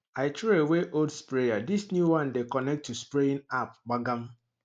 i throw away old sprayer this new one dey connect to spraying app gbagam